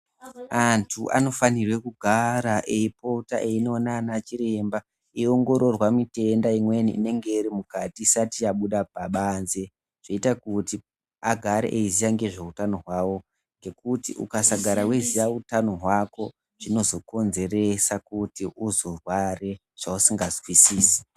Antu anofana kugara eipota eindoona ana chiremba eiongororwa mitenda imweni inenge iri mukati isati yabuda pabanze zvoita kuti vagare veiziva nezvehutano hwavo ngekuti ukasagara weiziva hutano hwako zvinozokinzeresa kuti uzorware zvausinga nzwisise.